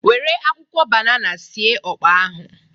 Nwere akwụkwọ banana sie ọkpa ahụ.